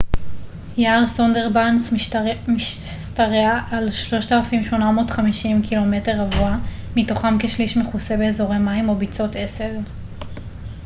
יער סונדרבאנס משתרע על 3,850 קמ ר מתוכם כשליש מכוסה באזורי מים או ביצות עשב